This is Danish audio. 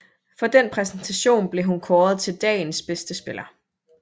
For den præstation blev hun kåret til dagens bedste spiller